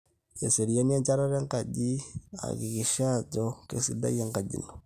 eseriani enchatata enkaji akikisha ajo keisidai enkaji ino